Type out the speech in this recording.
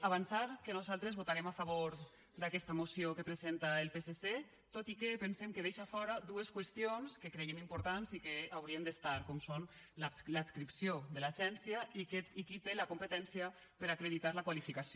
avançar que nosaltres votarem a favor d’aquesta moció que presenta el psc tot i que pensem que deixa fora dues qüestions que creiem importants i que hi haurien d’estar com són l’adscripció de l’agencia i qui té la competència per a acreditar la qualificació